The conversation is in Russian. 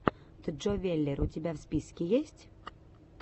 джо веллер у тебя в списке есть